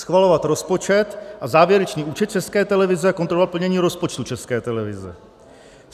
schvalovat rozpočet a závěrečný účet České televize a kontrolovat plnění rozpočtu České televize;